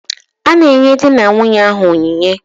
A na-enye di na nwunye ahụ onyinye.